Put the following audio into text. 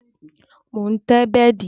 Mo ń tẹ́ bẹ́dì